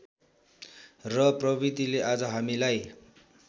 र प्रविधिले आज हामीलाई